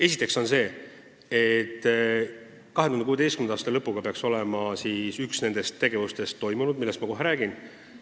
Esiteks on nii, et 2016. aasta lõpu seisuga peaks olema üks nendest tegevustest toimunud, millest ma kohe räägin.